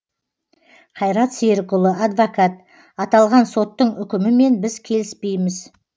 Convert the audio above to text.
қайрат серікұлы адвокат аталған соттың үкімімен біз келіспейміз